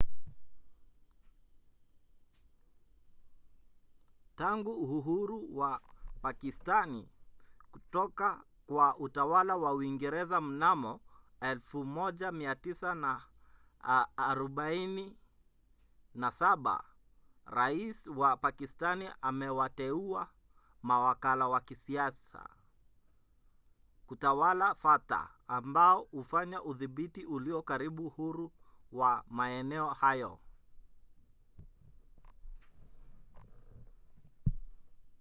tangu uhuru wa pakistani kutoka kwa utawala wa uingereza mnamo 1947 rais wa pakistani amewateua mawakala wa kisiasa kutawala fata ambao hufanya udhibiti ulio karibu huru wa maeneo hayo